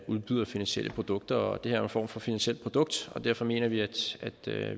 udbyder finansielle produkter og det her er form for finansielt produkt og derfor mener vi at